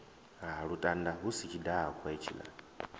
lutanda hu si tshidakwa hetshiḽa